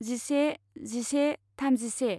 जिसे जिसे थामजिसे